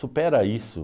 Supera isso.